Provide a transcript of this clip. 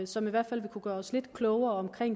som i hvert fald vil kunne gøre os lidt klogere på